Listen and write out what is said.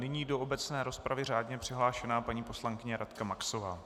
Nyní do obecné rozpravy řádně přihlášená paní poslankyně Radka Maxová.